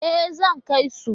E, zan kai su.